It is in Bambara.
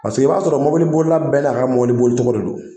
i b'a sɔrɔ mobilibolila bɛɛ n'a ka mɔbiliboli cogo de don